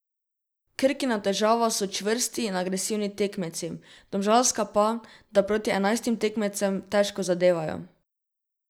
Krkina težava so čvrsti in agresivni tekmeci, domžalska pa, da proti enajstim tekmecem težko zadevajo.